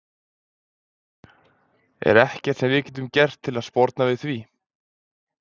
Er ekkert sem við getum gert til þess að sporna við því?